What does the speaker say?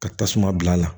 Ka tasuma bila a la